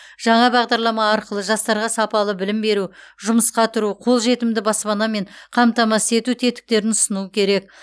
жаңа бағдарлама арқылы жастарға сапалы білім беру жұмысқа тұру қолжетімді баспанамен қамтамасыз ету тетіктерін ұсыну керек